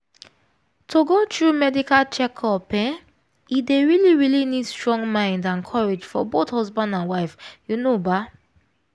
to go through medical checkup ehnne dey really really need strong mind and courage for both husband and wife you know baa